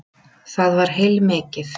Það var heilmikið.